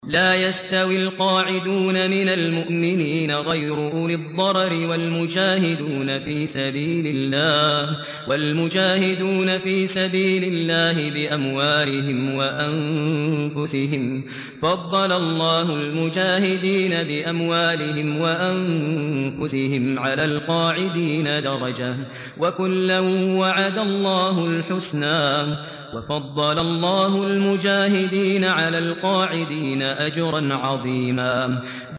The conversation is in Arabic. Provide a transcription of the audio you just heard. لَّا يَسْتَوِي الْقَاعِدُونَ مِنَ الْمُؤْمِنِينَ غَيْرُ أُولِي الضَّرَرِ وَالْمُجَاهِدُونَ فِي سَبِيلِ اللَّهِ بِأَمْوَالِهِمْ وَأَنفُسِهِمْ ۚ فَضَّلَ اللَّهُ الْمُجَاهِدِينَ بِأَمْوَالِهِمْ وَأَنفُسِهِمْ عَلَى الْقَاعِدِينَ دَرَجَةً ۚ وَكُلًّا وَعَدَ اللَّهُ الْحُسْنَىٰ ۚ وَفَضَّلَ اللَّهُ الْمُجَاهِدِينَ عَلَى الْقَاعِدِينَ أَجْرًا عَظِيمًا